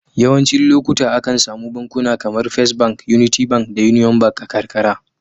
Yawancin lokuta, akan samu bankuna kamar first Bank, Unity Bank da Union Bank a karkara.